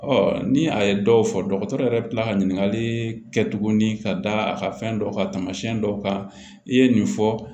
ni a ye dɔw fɔ dɔgɔtɔrɔ yɛrɛ bɛ kila ka ɲininkali kɛ tuguni ka da a ka fɛn dɔ kan taamasiyɛn dɔw kan i ye nin fɔ